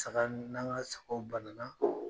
Saga ni n'an ka sagaw banana